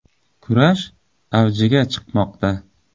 Kurash avjiga chiqmoqda.